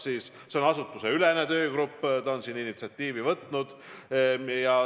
See on asutusteülene töögrupp, kes kaardistab olukorda ja on initsiatiivi haaranud.